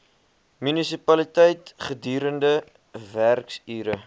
munisipaliteit gedurende werksure